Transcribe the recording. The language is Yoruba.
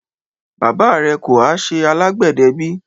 Baba rẹ kò há ṣẹ alágbedẹ bí?